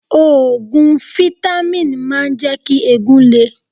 Òògùn fítámìn máa ń jẹ́ kí eegun le.